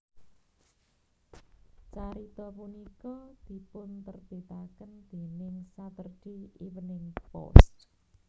Carita punika dipunterbitaken déning Saturday Evening Post